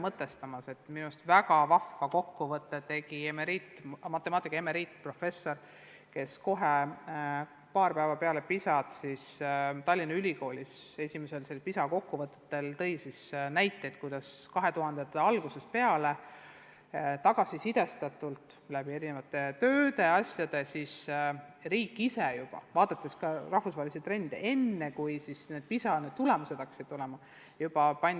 Minu meelest tegi väga vahva kokkuvõtte matemaatika emeriitprofessor, kes Tallinna Ülikoolis esimesel PISA kokkuvõttel tõi näiteid, kuidas meil juba 2000-ndate algusest peale, kui oldi saadud tagasisidet erinevatest töödest ja vaadatud ka rahvusvahelisi trende, pandi eriline rõhk õpetajate täienduskoolitusele matemaatikas.